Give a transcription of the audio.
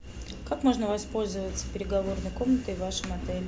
как можно воспользоваться переговорной комнатой в вашем отеле